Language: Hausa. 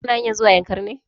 Ka na hanyar zuwa yankari ne?